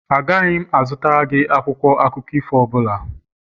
Agaghị m azụtara gị akwụkwọ akụkọ ifo ọ bụla